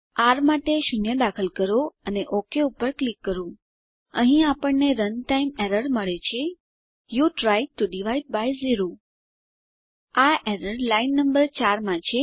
R માટે 0 દાખલ કરો અને ઓક પર ક્લિક કરો અહીં આપણને રનટાઇમ એરર મળે છે you tried T O divide by zero આ એરર લાઈન નંબર 4 માં છે